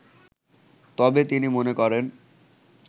তবে তিনি মনে করেন